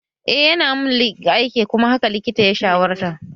Eh yana mun aiki kuma haka likitan ya shawarta